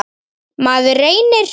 Maður reynir.